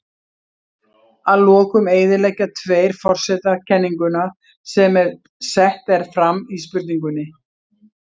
Að lokum eyðileggja tveir forsetar kenninguna sem sett er fram í spurningunni.